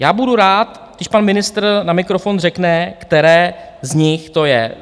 Já budu rád, když pan ministr na mikrofon řekne, které z nich to je.